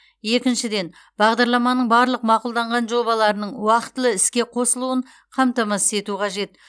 екіншіден бағдарламаның барлық мақұлданған жобаларының уақытылы іске қосылуын қамтамасыз ету қажет